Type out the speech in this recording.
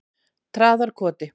Traðarkoti